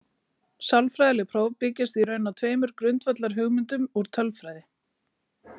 Sálfræðileg próf byggjast í raun á tveimur grundvallarhugmyndum úr tölfræði.